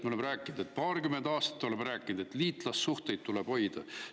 Me oleme paarkümmend aastat rääkinud, et liitlassuhteid tuleb hoida.